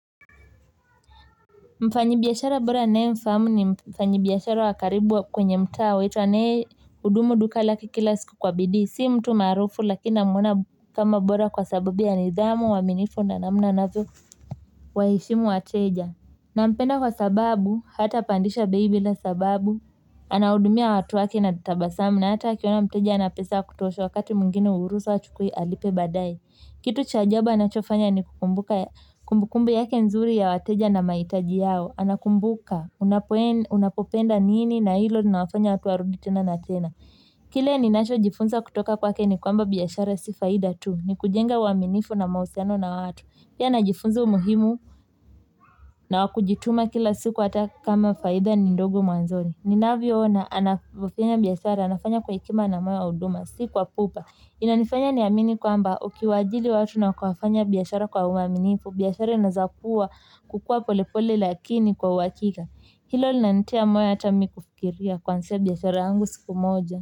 Mfanyi biashara bora ninaye mfahamu ni mfanyi biashara wa karibu wa kwenye mtaa wetu hudumu duka lake kila siku kwa bidii si mtu maarufu lakini namuona kama bora kwa sababu ya nidhamu, uaminifu na namna ambavyo huwaheshimu wateja na mpenda kwa sababu, hata pandisha bei bila sababu, anahudumia watu wake na tabasamu na hata akiona mteja hana pesa kutosha wakati mwingine humruhusu achukue alipe baadaye. Kitu cha ajabu anachofanya ni kukumbuka kumbukumbu yake nzuri ya wateja na mahitaji yao. Anakumbuka, unapopenda nini na hilo linawafanya watu warudi tena na tena. Kile ninachojifunza kutoka kwake ni kwamba biashara si faida tu. Ni kujenga uaminifu na mahusiano na watu. Pia najifunza umuhimu na wakujituma kila siku hata kama faida ni ndogo mwanzoni, ninavyoona anafanya biashara anafanya kwa hekima na moyo wa huduma si kwa pupa inanifanya niamini kwamba ukiwaajiri watu na kufanya biashara kwa uaminifu biashara inazakuwa kukua polepole lakini kwa uhakika hilo linanitia moyo hata mimi kufikiria kuanzisha biashara yangu siku moja.